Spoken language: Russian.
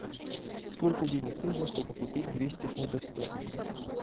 сколько денег нужно чтобы купить двести фунтов стерлингов